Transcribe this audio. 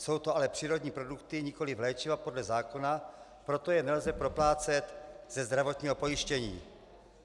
Jsou to ale přírodní produkty, nikoliv léčiva podle zákona, proto je nelze proplácet ze zdravotního pojištění.